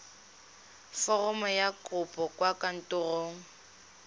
foromo ya kopo kwa kantorong